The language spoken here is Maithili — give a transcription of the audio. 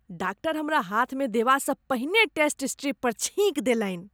डाक्टर हमरा हाथमे देबासँ पहिने टेस्ट स्ट्रिप पर छीकि देलनि।